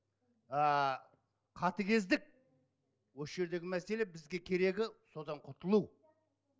ааа қатыгездік осы жердегі мәселе бізге керегі содан құтылу